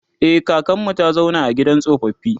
e kakanmu ta zauna a gidan tsofaffi